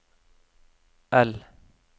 L